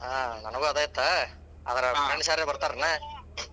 ಹಾ. ನನಗೂ ಅದೇ ಇತ್ತ ಆದ್ರ friends ಯಾರರ ಬರ್ತಾರೇನ?